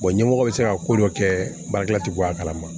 ɲɛmɔgɔ bɛ se ka ko dɔ kɛ baarakɛla tɛ bɔ a kalama